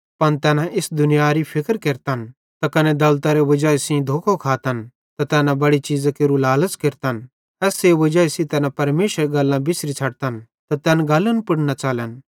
पन तैना इस दुनियारी फिक्र केरतन त कने दौलतरे वजाई सेइं धोखो खातन त तैना बड़े चीज़ां केरू लालच़ केरतन एसेरे वजाई सेइं तैना परमेशरेरी गल्लां बिसरी छ़ड्तन त तैन गल्लन पुड़ न च़लन